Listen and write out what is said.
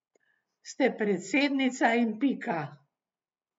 Ste predsednica in pika.